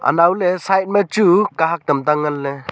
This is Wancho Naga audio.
anao le side ma chu kahak tam ta ngan le.